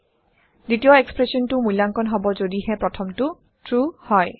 দ্বিতীয় এক্সপ্ৰেচনটো মূল্যাংকন হব যদিহে প্ৰথমটো ট্ৰু হয়